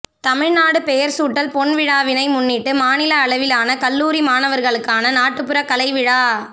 தமிழ்நாடு பெயர் சூட்டல் பொன்விழாவினை முன்னிட்டு மாநில அளவிலான கல்லூரி மாணவர்களுக்கான நாட்டுப்புறக் கலை விழா